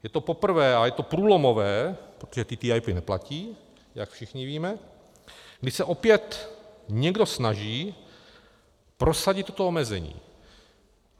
Je to poprvé a je to průlomové, protože TTIP neplatí, jak všichni víme, kdy se opět někdo snaží prosadit toto omezení.